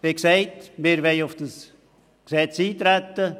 Wie gesagt, wollen wir auf das Gesetz eintreten.